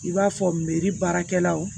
I b'a fɔ meri baarakɛlaw